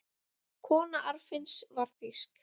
Kona Arnfinns var þýsk.